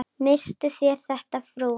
Misstuð þér þetta, frú!